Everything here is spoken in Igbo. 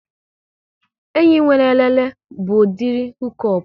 Enyi nwere elele bụ udiri hukop